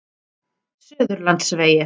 Suðurlandsvegi